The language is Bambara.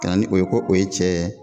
Kana ni o ye ko o ye cɛɛ